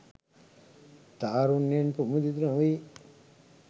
තාරුණ්‍යයෙන් ප්‍රමුදිත නොවී